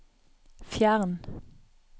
fjern